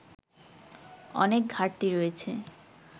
অনেক ঘাটতি রয়েছে